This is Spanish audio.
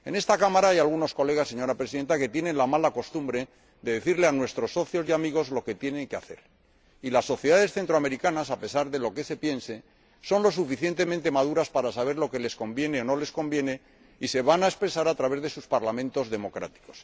En esta Cámara hay algunos diputados, señora Presidenta, que tienen la mala costumbre de decirles a nuestros socios y amigos lo que tienen que hacer, pero las sociedades centroamericanas, a pesar de lo que se piense, son lo suficientemente maduras para saber lo que les conviene o no les conviene, y se van a expresar a través de sus Parlamentos democráticos.